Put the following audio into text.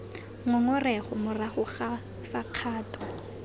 ngongorego morago ga fa kgato